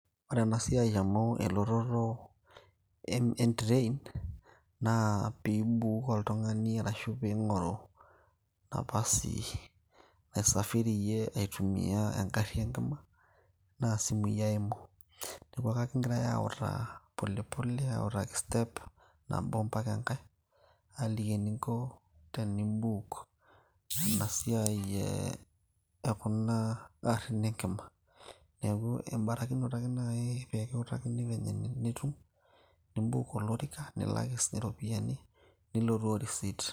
ore ena siai amu elototo en train naa piibuuk oltung'ani arashu piing'oru napasi naisafiriyie aitumia engarri enkima naa isimui eimu neeku akakingiray autaa polepole autaki step nabo mpaka enkay aaliki eninko tenimbuuk ena siai e ekuna arrin enkima neeku embarakinoto ake naaji peekiutakini venye enitum nimbuuk olorika nilak siinye iropiyiani nilotu o receipt.